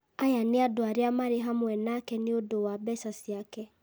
Aya nĩ andũ arĩa marĩ hamwe nake nĩ ũndũ wa mbeca ciake,